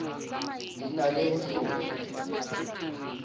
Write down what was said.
di na le ho hlopha